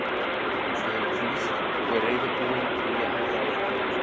Ég hef hvílst og er reiðubúinn í að halda áfram.